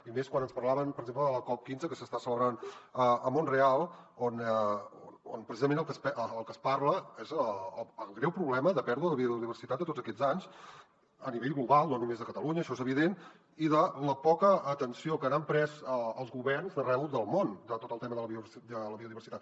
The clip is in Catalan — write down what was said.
i més quan ens parlaven per exemple de la cop15 que s’està celebrant a montreal on precisament del que es parla és del greu problema de pèrdua de biodiversitat de tots aquests anys a nivell global no només de catalunya això és evident i de la poca atenció que n’han pres els governs d’arreu del món de tot el tema de la biodiversitat